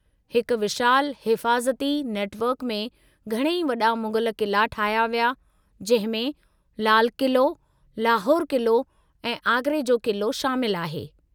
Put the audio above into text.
हिकु विशालु हिफ़ाज़ती नेटवर्क में घणई वॾा मुग़ल क़िला ठाहिया विया, जंहिं में लाल क़िलो, लाहौर क़िलो ऐं आगरे जो क़िलो शामिलु आहे।